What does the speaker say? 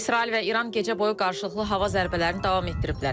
İsrail və İran gecə boyu qarşılıqlı hava zərbələrini davam etdiriblər.